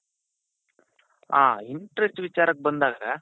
ಆ interest ವಿಚಾರಕ್ ಬಂದಾಗ